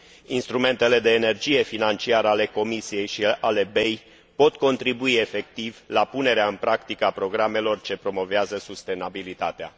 Instrumentele de energie financiară ale Comisiei și ale BEI pot contribui efectiv la punerea în practică a programelor ce promovează sustenabilitatea.